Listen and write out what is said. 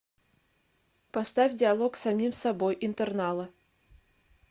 поставь диалог с самим собой интернала